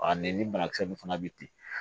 ne ni banakisɛ nin fana bɛ ten